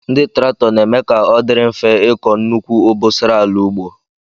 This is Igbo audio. Ndị traktọ na-eme ka ọ dịrị mfe ịkọ nnukwu obosara ala ugbo.